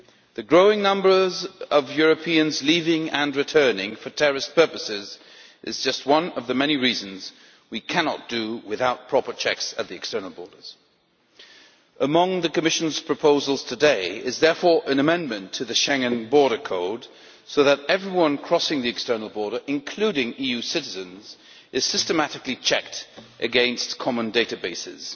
The growing number of Europeans leaving, and returning, for terrorist purposes is just one of the many reasons why we cannot do without proper checks at the external borders. Therefore, among the Commission's proposals today is an amendment to the Schengen Border Code, so that everyone crossing the external border, including EU citizens, is systematically checked against common databases.